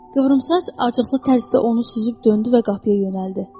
Qıvrımsaç acıqlı tərzdə onu süzüb döndü və qapıya yönəldi.